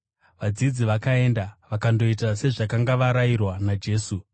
Vadzidzi vakaenda vakandoita sezvavakanga varayirwa naJesu.